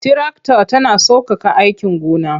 Tirakta tana sauƙaƙa aikin gona.